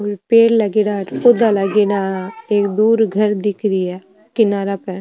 पेड़ लागेड़ा अठ पौधा लागेड़ा एक दूर घर दिख री है किनारा पर।